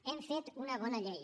hem fet una bona llei